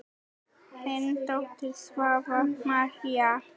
Þín dóttir, Svava María.